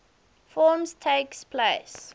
forms takes place